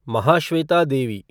Mahasweta Devi